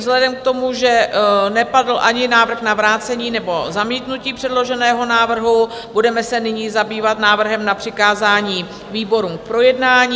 Vzhledem k tomu, že napadl ani návrh na vrácení nebo zamítnutí předloženého návrhu, budeme se nyní zabývat návrhem na přikázání výborům k projednání.